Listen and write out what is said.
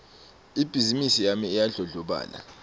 ibhizimisi yami iyandlondlobala